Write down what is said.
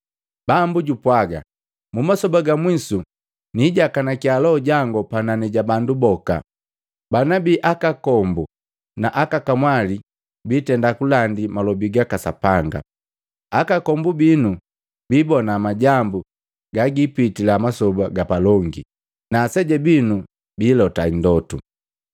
‘Bambu jupwaga, mumasoba ga mwisu, niijakanakia Loho jangu panani ja bandu boka. Bana bii akakombu na aka kamwali bitenda kulandi malobi gaka Sapanga, akakombu binu bibona majambu gagipitila masoba gapalongi, na aseja binu biilota ndotu.